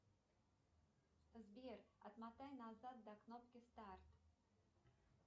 сбер отмотай назад до кнопки старт